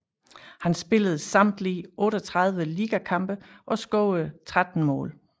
Han spillede samtlige 38 ligakampe og scorede 13 mål